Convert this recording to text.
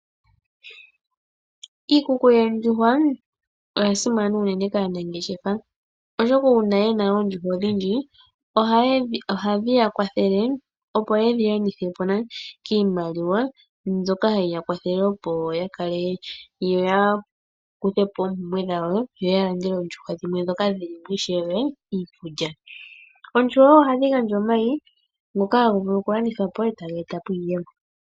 Iikuku yoondjuhwa oyasimana unene kaanangeshefa. Oshoka uuna yena oondjuhwa odhindji ohadhi yakwathele, opo yedhi landithepo kiimaliwa mbyoka hayi yakwathele yakuthepo oompumbwe dhawo yo oondjuhwa dhimwe. Oondjuhwa ohadhi vala omayi ngono haga vulu okulandithwa po etaga eta iiyemo.